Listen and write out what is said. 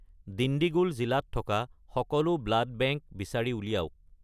দিণ্ডিগুল জিলাত থকা সকলো ব্লাড বেংক বিচাৰি উলিয়াওক